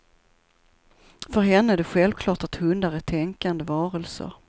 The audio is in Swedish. För henne är det självklart att hundar är tänkande varelser.